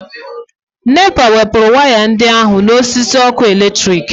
NEPA wepụrụ waya ndị ahụ n'osisi ọkụ eletrik